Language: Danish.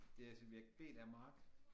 Det er subjekt B der er Mark